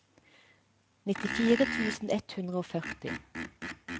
nittifire tusen ett hundre og førti